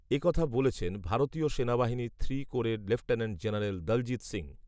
এ কথা বলেছেন, ভারতীয় সেনাবাহিনীর থ্রি কোরের লেফটেন্যান্ট জেনারেল দলজিত্ সিংহ